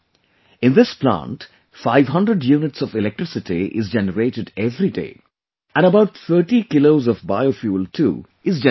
In this plant 500units of electricity is generated every day, and about 30 Kilos of bio fuel too is generated